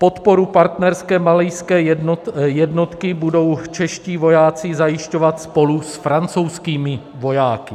Podporu partnerské malijské jednotky budou čeští vojáci zajišťovat spolu s francouzskými vojáky.